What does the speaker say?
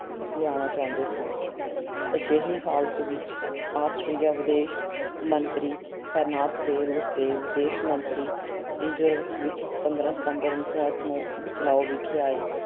ਲਿਆਣਾ ਚਾਹੁੰਦੇ ਸਨ। ਅਜਿਹੇ ਹਾਲਤ ਵਿੱਚ Austria ਵਿਦੇਸ਼ ਮੰਤਰੀ Aehrenthal ਤੇ Russia ਵਿਦੇਸ਼ ਮੰਤਰੀ Izvolsky ਵਿੱਚ ਪੰਦਰਾਂ ਸਤੰਬਰ, ਉਨੀ ਸੌ ਅੱਠ ਨੂੰ Buchlau ਵਿਖੇ ਆਏ